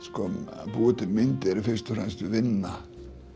að búa til myndir er fyrst og fremst vinna